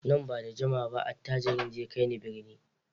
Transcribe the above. Nan ba da jimawa ba attajirin zai kai ni birni.